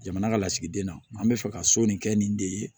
Jamana ka lasigiden na an bɛ fɛ ka so nin kɛ nin de ye